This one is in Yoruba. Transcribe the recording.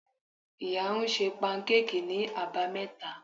Iya ń sẹ pankéèkí ni abámeta